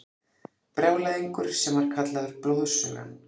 Brjálæðingur sem var kallaður Blóðsugan.